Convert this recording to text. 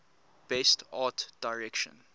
best art direction